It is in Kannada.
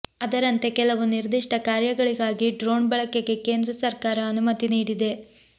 ಅದರಂತೆ ಕೆಲವು ನಿರ್ದಿಷ್ಟ ಕಾರ್ಯಗಳಿಗಾಗಿ ಡ್ರೋಣ್ ಬಳಕೆಗೆ ಕೇಂದ್ರ ಸರ್ಕಾರ ಅನುಮತಿ ನೀಡಿದೆ